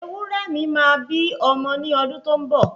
Ewúrẹ mi máa bí ọmọ ni ọdún tó ń bọ̀